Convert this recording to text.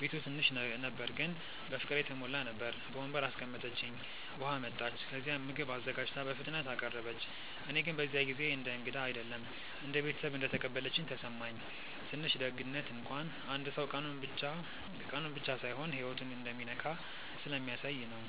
ቤቱ ትንሽ ነበር ግን በፍቅር የተሞላ ነበር። በወንበር አስቀምጠችኝ፣ ውሃ አመጣች፣ ከዚያም ምግብ አዘጋጅታ በፍጥነት አቀረበች። እኔ ግን በዚያ ጊዜ እንደ እንግዳ አይደለም እንደ ቤተሰብ እንደተቀበለችኝ ተሰማኝ። ትንሽ ደግነት እንኳን አንድ ሰው ቀኑን ብቻ ሳይሆን ህይወቱን እንደሚነካ ስለሚያሳየ ነው